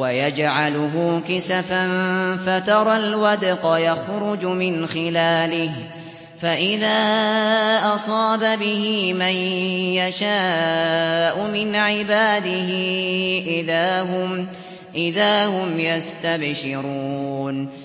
وَيَجْعَلُهُ كِسَفًا فَتَرَى الْوَدْقَ يَخْرُجُ مِنْ خِلَالِهِ ۖ فَإِذَا أَصَابَ بِهِ مَن يَشَاءُ مِنْ عِبَادِهِ إِذَا هُمْ يَسْتَبْشِرُونَ